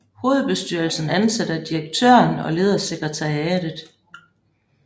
Hovedbestyrelsen ansætter direktøren og leder sekretariatet